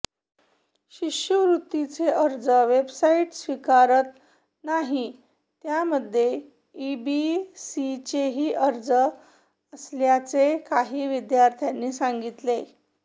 शिष्यवृत्तीचे अर्ज वेबसाईट स्वीकारत नाही त्यामध्ये ईबीसीचेही अर्ज असल्याचे काही विद्यार्थ्यांनी सांगितले